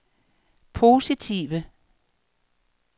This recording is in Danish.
positive